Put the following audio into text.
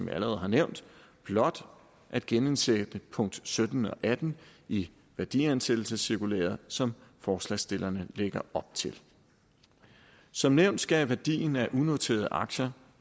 jeg allerede har nævnt blot at genindsætte punkt sytten og atten i værdiansættelsescirkulæret som forslagsstillerne lægger op til som nævnt skal værdien af unoterede aktier